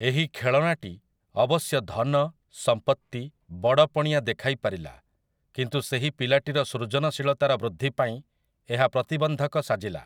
ଏହି ଖେଳଣାଟି ଅବଶ୍ୟ ଧନ, ସମ୍ପତ୍ତି, ବଡ଼ପଣିଆ ଦେଖାଇପାରିଲା, କିନ୍ତୁ ସେହି ପିଲାଟିର ସୃଜନଶୀଳତାର ବୃଦ୍ଧି ପାଇଁ ଏହା ପ୍ରତିବନ୍ଧକ ସାଜିଲା ।